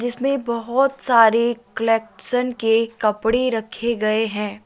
जिसमें बहोत सारे कलेक्शन के कपड़े रखे गए हैं।